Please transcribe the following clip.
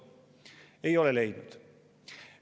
Ei ole leidnud.